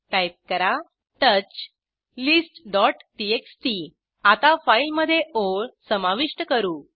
type करा touch listटीएक्सटी आता फाईलमधे ओळ समाविष्ट करू